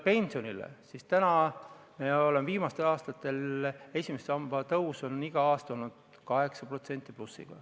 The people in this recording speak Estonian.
Praegu on viimastel aastatel esimese samba tõus olnud iga aasta 8% plussi.